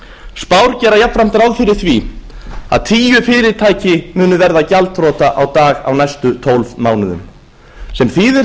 spár gera jafnframt ráð fyrir því að tíu fyrirtæki muni verða gjaldþrot á dag á næstu tólf munum sem þýðir